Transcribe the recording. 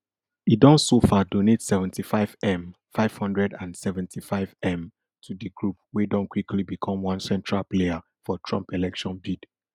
e don so far donate seventy-fivem five hundred and seventy-fivem to di group wey don quickly become one central player for trump election bid